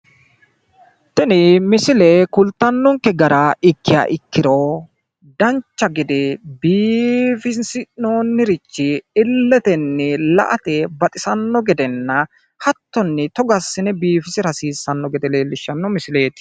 Tini misile kulttannonkke gara ikkiha ikkiro dancha gede biifisi'noonirichi illetenni la'ate baxisanno gedenna, hattonni togo assine biifisira hasiissanno gede leellishshanno misileeti.